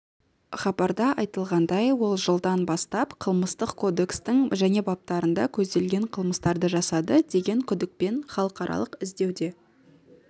хабарда айтылғандай ол жылдан бастап қылмыстық кодекстің және баптарында көзделген қылмыстарды жасады деген күдікпен халықаралық іздеуде